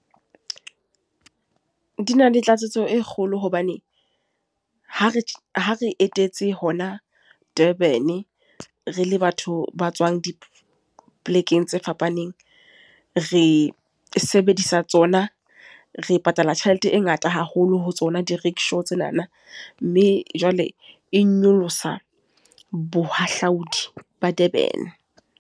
Di na le tlatsetso e kgolo hobane, ha re ha re etetse hona Durban. Re le batho ba tswang dipolekeng tse fapaneng. Re sebedisa tsona, re patala tjhelete e ngata haholo ho tsona di-rickshaw tsenana. Mme jwale e nyolosa bohahlaudi ba Durban.